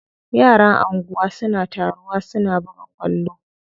Yaran anguwa suna taruwa su buga kwallo.